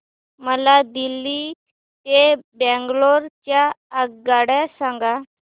मला दिल्ली ते बंगळूरू च्या आगगाडया सांगा